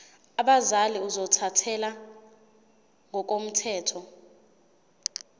abazali ozothathele ngokomthetho